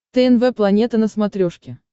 тнв планета на смотрешке